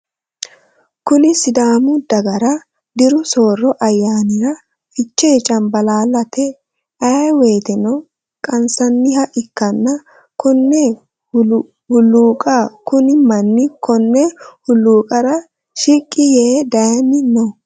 Kunni sidaamu dagara diru sooro ayaannira fichee cambaalallate ayi woyeeteno qansanniha ikanna konne huluuqaho kunni manni konne holuuqara shiqi yee daanni no.